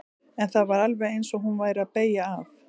En það var alveg eins og hún væri að beygja af.